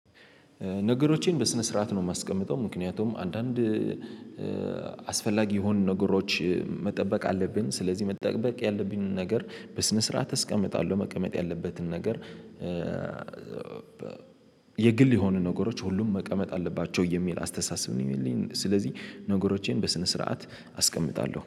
ነገሮቼን በስነ ስርዓት ነው። የማስቀምጠው ምክንያቱም አንዳንድ አስፈላጊ የሆኑ ነገሮች መጠበቅ አለብን። ስለዚህ መጠበቅ ያለብንን ነገር በስነ ስርዓት እስቀምጣለሁ። መቀመጥ ያለበትን ነገር። የግል የሆኑ ነገሮች ሁሉም መቀመጥ አለባቸው የሚል አስተሳሰብ ነው ያለኝ። ስለዚህ ነገሮቼን በስነ ስርዓት አስቀምጣለሁ